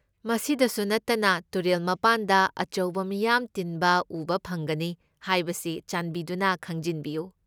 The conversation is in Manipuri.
ꯃꯁꯤꯗꯁꯨ ꯅꯠꯇꯅ, ꯇꯨꯔꯦꯜ ꯃꯄꯥꯟꯗ ꯑꯆꯧꯕ ꯃꯤꯌꯥꯝ ꯇꯤꯟꯕ ꯎꯕ ꯐꯪꯒꯅꯤ ꯍꯥꯏꯕꯁꯤ ꯆꯥꯟꯕꯤꯗꯨꯅ ꯈꯪꯖꯤꯟꯕꯤꯌꯨ꯫